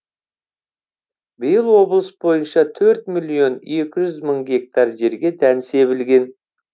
биыл облыс бойынша төрт миллион екі жүз мың гектар жерге дән себілген